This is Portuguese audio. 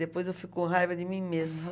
Depois eu fico com raiva de mim mesma.